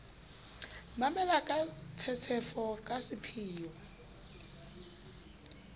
mamela ka tshetshefo ka sepheo